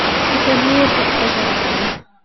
இப்ப new year க்கு போடப்போறாங்க .